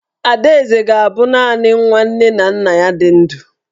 Adaeze ga-abụ naanị nwa nne na nna ya ka dị ndụ.